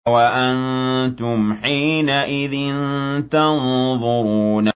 وَأَنتُمْ حِينَئِذٍ تَنظُرُونَ